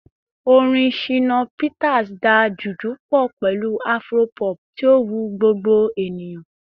Orin Shina Peters da Juju pọ pẹlu Afro-pop, ti o wu gbogbo eniyan